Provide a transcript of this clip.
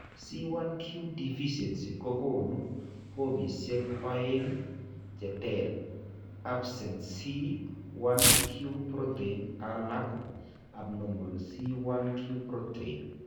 C1q deficiency kokoonu formisiek oeng' cheter absent C1q protein alako abnormal C1q protein